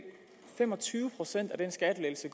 fem og tyve procent af den skattelettelse